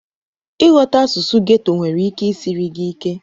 Ịghọta asụsụ ghetto nwere ike isiri gị ike.